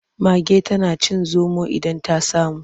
Mage tana cin zomo idan ta samu.